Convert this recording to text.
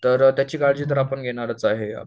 तर त्याची काळजी तर आपण घेणारच आहे